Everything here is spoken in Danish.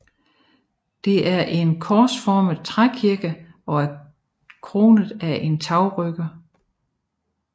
Det er en korsformet trækirke og er kronet af en tagrytter